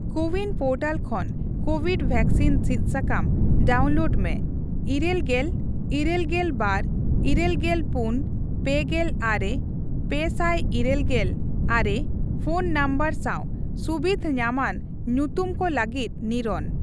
CoWIN portal ᱠᱷᱚᱱ COVID vaccine ᱥᱤᱫ ᱥᱟᱠᱟᱢ ᱰᱟᱣᱩᱱᱞᱳᱰ ᱢᱮ ᱤᱨᱟᱹᱞᱜᱮᱞ, ᱤᱨᱟᱹᱞᱜᱮᱞ ᱵᱟᱨ, ᱤᱨᱟᱹᱞᱜᱮᱞ ᱯᱩᱱ, ᱯᱮᱜᱮᱞ ᱟᱨᱮ, ᱯᱮᱥᱟᱭ ᱤᱨᱟᱹᱞᱜᱮᱞ ᱟᱨᱮᱯᱷᱚᱱ ᱱᱚᱢᱵᱚᱨ ᱥᱟᱣ ᱥᱩᱵᱤᱫᱷ ᱧᱟᱢᱟᱱ ᱧᱩᱛᱩᱢ ᱠᱚ ᱞᱟᱹᱜᱤᱫ ᱱᱤᱨᱳᱱ ᱾